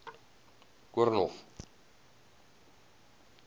koornhof